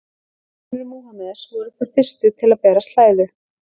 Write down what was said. Konur Múhameðs voru þær fyrstu til að bera slæðu.